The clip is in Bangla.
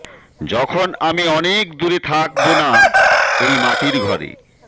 যখন আমি অনেক দূরে থাক্ বো না এই মাটির ঘরে